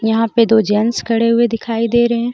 यहां पे दो जेंट्स खड़े हुए दिखाई दे रहे है.